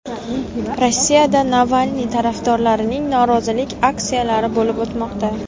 Rossiyada Navalniy tarafdorlarining norozilik aksiyalari bo‘lib o‘tmoqda .